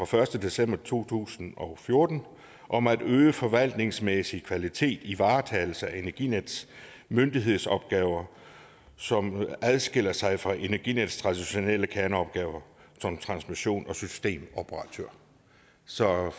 første december to tusind og fjorten om at øge den forvaltningsmæssige kvalitet i varetagelsen af energinetdks myndighedsopgaver som adskiller sig fra energinetdks traditionelle kerneopgaver som transmissions og systemoperatør så i